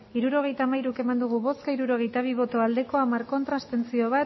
hirurogeita hamairu eman dugu bozka hirurogeita bi bai hamar ez bat abstentzio